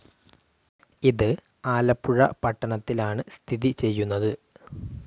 ഇത് ആലപ്പുഴ പട്ടണത്തിലാണ് സ്ഥിതി ചെയ്യുന്നത്.